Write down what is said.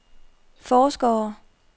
forskere